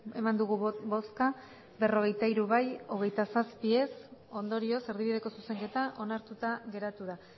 eman dugu bozka berrogeita hiru bai hogeita zazpi ez ondorioz erdibideko zuzenketa onartuta geratu da